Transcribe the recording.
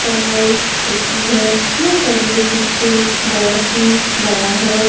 पढ़ाई होती है यह पब्लिक स्कूल बहोत ही बड़ा है।